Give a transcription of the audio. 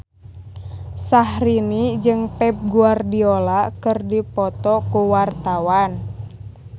Syahrini jeung Pep Guardiola keur dipoto ku wartawan